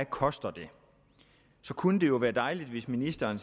koster så kunne det jo være dejligt hvis ministeren